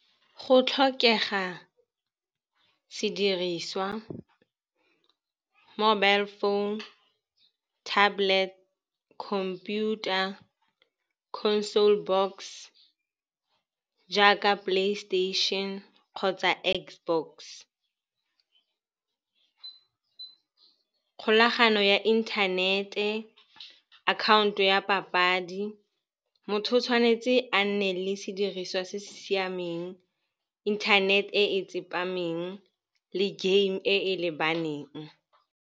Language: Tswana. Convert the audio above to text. Go tlhokega sediriswa, mobile phone, tablet, computer, console box jaaka PlayStation kgotsa Xbox, kgolagano ya inthanete, akhaonto ya papadi. Motho o tshwanetse a nne le sediriswa se se siameng, inthanete e tsepameng le game e e lebaneng.